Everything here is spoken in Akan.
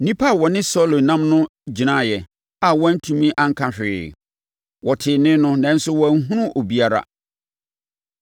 Nnipa a wɔne Saulo nam no gyinaeɛ a wɔantumi anka hwee; wɔtee nne no, nanso wɔanhunu obiara.